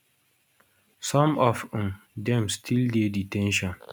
some of um dem still dey de ten tion